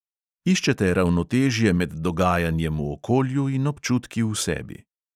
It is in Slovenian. Iščete ravnotežje med dogajanjem v okolju in občutki v sebi.